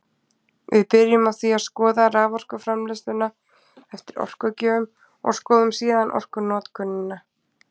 Við byrjum á því að skoða raforkuframleiðsluna eftir orkugjöfum og skoðum síðan orkunotkunina.